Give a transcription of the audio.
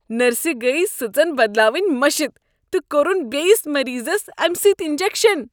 نرسہِ گٔیہ سٕژن بدلاوٕنۍ مشِتھ تہٕ كوٚرُن بیٚیس مریضس امہِ سۭتۍ انجكشن ۔